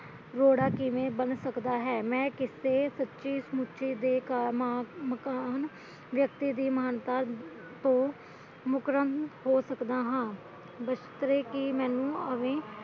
ਰੋੜਾ ਕਿਵੇਂ ਬਣ ਸਕਦਾ ਹੈ ਮੈਂ ਕਿਸੇ ਸੱਚੀ ਮੁੱਚੀ ਦੇ ਮਕਾਨ ਵਿਅਕਤੀ ਦੀ ਮਹਾਨਤਾ ਤੋਂ ਮੁਕਰਨ ਹੋ ਸਕਦਾ ਹਾਂ ਜਿਸਤੇ ਕਿ ਮੈਨੂੰ ਆਵੇ